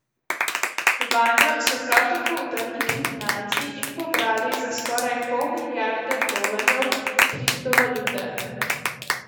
Vanjo so prav tako vdrli kriminalci in pobrali za skoraj pol milijarde dolarjev kriptovalute.